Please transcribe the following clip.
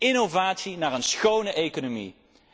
Innovatie naar een schone economie.